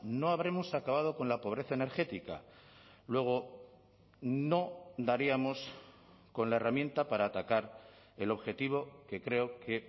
no habremos acabado con la pobreza energética luego no daríamos con la herramienta para atacar el objetivo que creo que